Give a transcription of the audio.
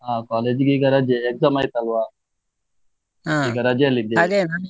ಅಹ್ college ಈಗೆ ರಜೆ exam ಆಯ್ತಲ್ವಾ, ರಜೆಯಲ್ಲಿ ಇದ್ದೇನೆ .